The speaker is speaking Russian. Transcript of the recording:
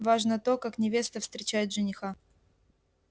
важно то как невеста встречает жениха